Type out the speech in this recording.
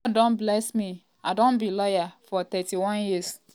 "god don bless me i don be lawyer for 31 years.